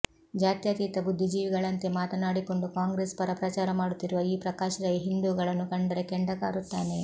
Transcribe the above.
ಜಾತ್ಯಾತೀತ ಬುದ್ಧಿಜೀವಿಗಳಂತೆ ಮಾತನಾಡಿಕೊಂಡು ಕಾಂಗ್ರೆಸ್ ಪರ ಪ್ರಚಾರ ಮಾಡುತ್ತಿರುವ ಈ ಪ್ರಕಾಶ್ ರೈ ಹಿಂದೂಗಳನ್ನು ಕಂಡರೆ ಕೆಂಡ ಕಾರುತ್ತಾನೆ